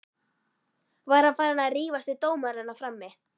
Var hann farinn að rífast við dómarana frammi?